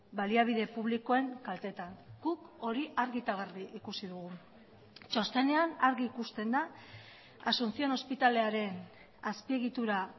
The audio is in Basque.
baliabide publikoen kaltetan guk hori argi eta garbi ikusi dugu txostenean argi ikusten da asunción ospitalearen azpiegitura